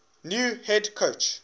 new head coach